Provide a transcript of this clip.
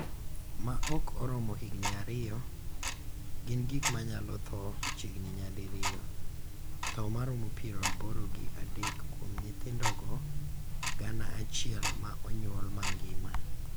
ma ok oromo higni ariyo, gin gik ma nyalo tho chiegni nyadi riyo (tho maromo piero aboro gi adek kuom nyithindo gana aciel ma onyuol mangima)